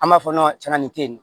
An b'a fɔ